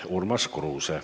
Urmas Kruuse.